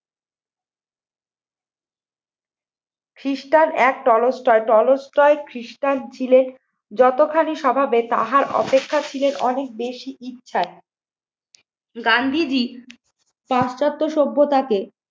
খ্রিস্টান এক Tolstoy, Tolstoy খ্রিস্টান ছিলেন যতখানি স্বভাবে তাহার অপেক্ষা ছিল অনেক বেশি ইচ্ছায়। গান্ধীজী পাশ্চাত্য সভ্যতাকে